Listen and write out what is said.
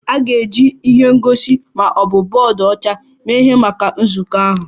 A ga-eji ihe ngosi ma ọ bụ bọọdụ ọcha mee ihe maka nzukọ ahụ?